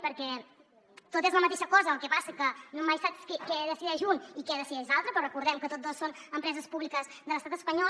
perquè tot és la mateixa cosa el que passa que no mai saps què decideix un i què decideix l’altre però recordem que tots dos són empreses públiques de l’estat espanyol